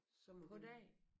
På dagen?